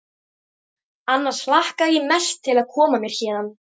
Annars hlakka ég mest til að koma mér héðan.